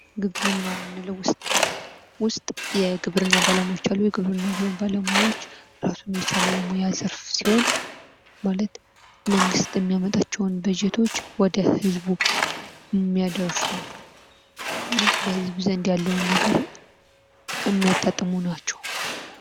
ግብርና የምንለው ውስጥ የግብርና ባለሙያዎች አሉ:: የግብርና ባለሙያዎች እራሱን የቻለ የሙያ ዘርፍ ሲሆን ማለት መንግት የሚያመጣቸውን በጀቶች ወደ ለህዝቡ የሚያደርሱ በህዝቡ ዘንድ ያለውን ነገር የሚያጣጥሙ ናቸው ::